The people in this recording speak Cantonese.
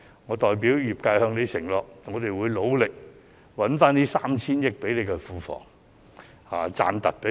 我代表業界向他承諾，我們會努力為庫房賺回 3,000 億元或甚至更多。